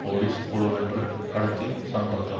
police குழுவொன்று கடத்தி சென்றது